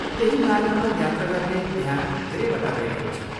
त्यही मार्गमा यात्रा गर्ने त्यहाँ धेरैवटा रेलहरू छन्।